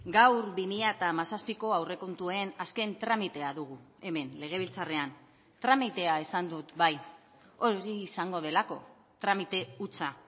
gaur bi mila hamazazpiko aurrekontuen azken tramitea dugu hemen legebiltzarrean tramitea esan dut bai hori izango delako tramite hutsa